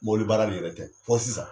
Mobili baara in yɛrɛ tɛ fɔ sisan.